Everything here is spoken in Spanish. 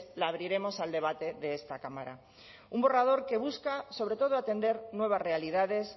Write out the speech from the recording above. la abriremos al debate de esta cámara un borrador que busca sobre todo atender nuevas realidades